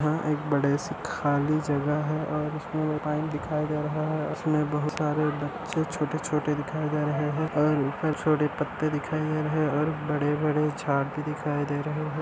एक बड़ा सा खली जगा है और पाइप दिखई दे रहा है इसमें बहुत सारे बच्चे छोटे छोटे दिखाई दे रहे है और ऊपर छोटे पत्ते दिखाए दे रहे है| और बड़े--